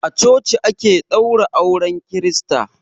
A coci ake ɗaura auren kirista.